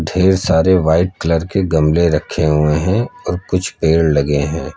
ढेर सारे white colour के गमले रखे हुए हैं और कुछ पेड़ लगे हैं।